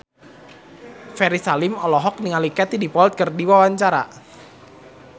Ferry Salim olohok ningali Katie Dippold keur diwawancara